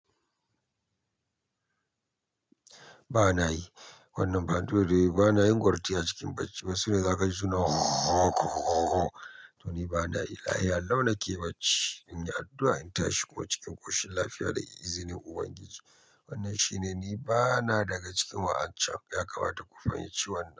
Ba na yi. Wannan banɗodo bana yin gwarti a cikin bacci. Wasu ne za ka ji suna to ni ba na yi. Lafiya lau na ke bacci. In yi addu'a in tashi kuma cikin ƙoshin lafiya da izinin Ubangiji. Wannan shi ne ni bana daga cikin wa'ancan. Ya kamata ku fahimci wannan.